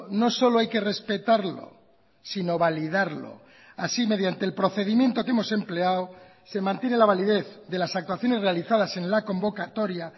no solo hay que respetarlo sino validarlo así mediante el procedimiento que hemos empleado se mantiene la validez de las actuaciones realizadas en la convocatoria